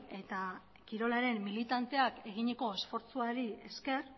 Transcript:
eta kirolaren militanteak eginiko esfortzuari esker